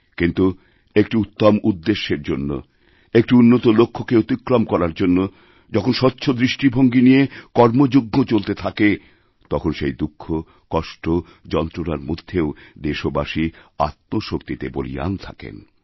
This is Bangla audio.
কিন্তু একটি উত্তম উদ্দেশ্যের জন্যএকটি উন্নত লক্ষ্যকে অতিক্রম করার জন্য যখন স্বচ্ছ দৃষ্টিভঙ্গী নিয়ে কর্মযজ্ঞ চলতেথাকে তখন সেই দুঃখ কষ্ট যন্ত্রণার মধ্যেও দেশবাসী আত্মশক্তিতে বলীয়ান থাকেন